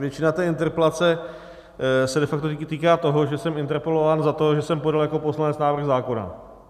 Většina té interpelace se de facto týká toho, že jsem interpelován za to, že jsem podal jako poslanec návrh zákona.